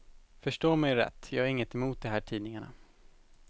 Förstå mig rätt, jag har inget emot de här tidningarna.